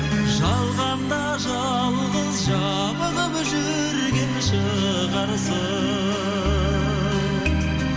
жалғанда жалғыз жабығып жүрген шығарсың